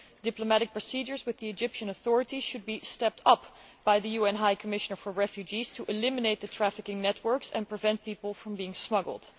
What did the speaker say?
Diplomatic procedures with the Egyptian authorities should be stepped up by the UN High Commissioner for Refugees to eliminate the trafficking networks and prevent people from being smuggled.